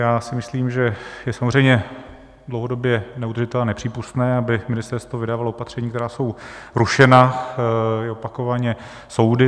Já si myslím, že je samozřejmě dlouhodobě neudržitelné a nepřípustné, aby ministerstvo vydávalo opatření, která jsou rušena, i opakovaně, soudy.